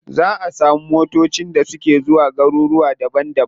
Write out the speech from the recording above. Za a samu motacin da suke zuwa garuruka daban daban.